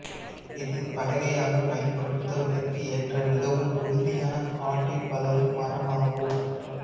இது பலகையாக பயன்படுத்துவதற்கு ஏற்ற மிகவும் உறுதியான காட்டில் வளரும் மரமாகும்